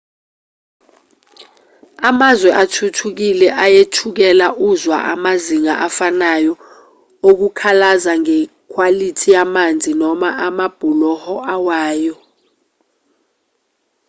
emazweni athuthukile uyethukela uzwa amazinga afanayo okukhalaza ngekhwalithi yamanzi noma amabhuloho awayo